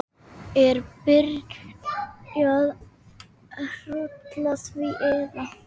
Er byrjað rúlla því eða?